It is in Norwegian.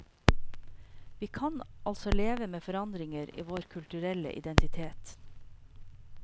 Vi kan altså leve med forandringer i vår kulturelle identitet.